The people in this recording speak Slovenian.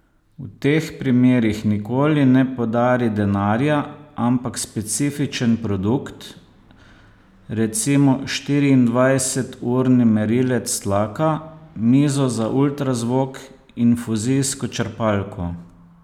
V teh primerih nikoli ne podari denarja, ampak specifičen produkt, recimo štiriindvajseturni merilec tlaka, mizo za ultrazvok, infuzijsko črpalko ...